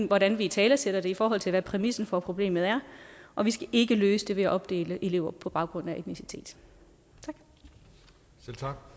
hvordan vi italesætter det i forhold til hvad præmissen for problemet er og vi skal ikke løse det ved at opdele elever på baggrund af etnicitet tak